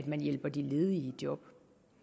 man hjælper de ledige i job